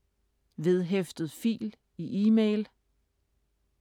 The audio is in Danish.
Vedhæftet fil i e-mail